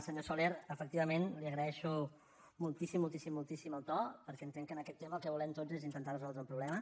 senyor soler efectivament li agraeixo moltíssim moltíssim moltíssim el to perquè entenc que en aquest tema el que volem tots és intentar resoldre un problema